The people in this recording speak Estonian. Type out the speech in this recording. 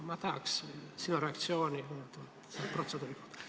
Ma tahaks kuulda sinu reaktsiooni protseduuri kohta.